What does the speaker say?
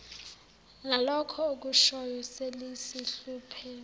lalokho okushoyo selisihluphe